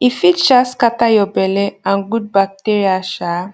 e fit um scatter your belle and good bacteria um